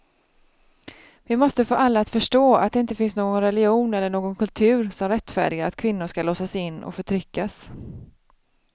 Vi måste få alla att förstå att det inte finns någon religion eller någon kultur som rättfärdigar att kvinnor ska låsas in och förtryckas.